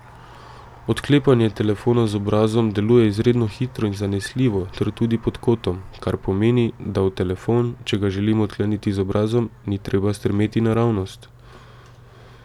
Odklepanje telefona z obrazom deluje izredno hitro in zanesljivo ter tudi pod kotom, kar pomeni, da v telefon, če ga želimo odkleniti z obrazom, ni treba strmeti naravnost.